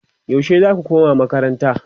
yaushe zaku koma makaranta?